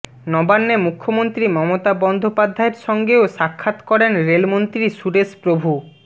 নবান্নে মুখ্যমন্ত্রী মমতা বন্দ্যোপাধ্যায়ের সঙ্গেও সাক্ষাত করেন রেলমন্ত্রী সুরেশ প্রভু